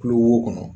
Kulo wo kɔnɔ